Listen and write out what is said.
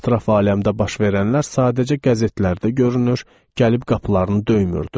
Ətraf aləmdə baş verənlər sadəcə qəzetlərdə görünür, gəlib qapılarını döymürdü.